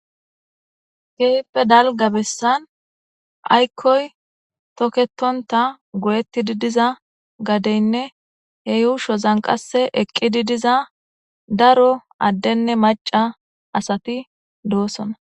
kehippe dalga bessan aykkoy toketonta go7etti di diza gadeynne he yuusho zanqase eqqidi diza daro addenne maca asati doosona